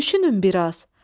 Düşünün bir az.